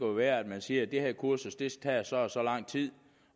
jo være at man siger at det her kursus tager så og så lang tid